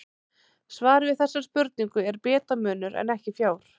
Svarið við þessari spurningu er bitamunur en ekki fjár.